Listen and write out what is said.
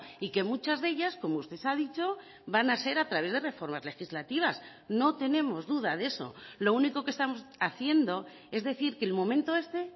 y que muchas de ellas como usted ha dicho van a ser a través de reformas legislativas no tenemos duda de eso lo único que estamos haciendo es decir que el momento este